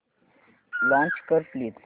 launch कर please